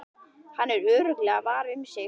Hann er örugglega var um sig.